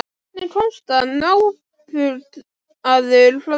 Hvernig komst hann óbugaður frá slíku?